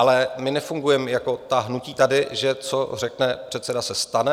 Ale my nefungujeme jako ta hnutí tady, že co řekne předseda, se stane.